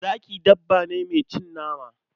Zaki dabba ce mai cin nama.